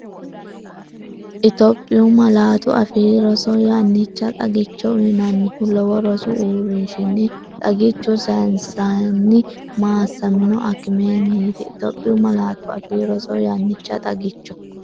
Itophiyu Malaatu Afii Roso Yannicha xagicho uyinannihu lowo rosu uurrinshinni xagichu sayinsenni maassamino akimenniiti Itophiyu Malaatu Afii Roso Yannicha xagicho.